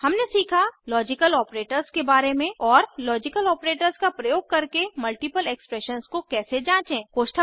हमने सीखा logical operators के बारे में और लॉजिकल ऑपरेटर्स का प्रयोग करके मल्टीपल एक्सप्रेशन्स को कैसे जाँचें160